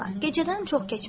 Gecədən çox keçmişdi.